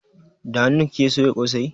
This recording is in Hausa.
Da hanun kike soya kosai?